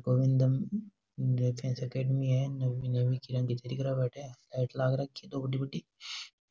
Govindam defence academy है नवी नवी रही अटे लाइट लाग रखी दो बड़ी बड़ी